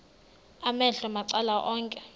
amehlo macala onke